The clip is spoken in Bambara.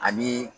Ani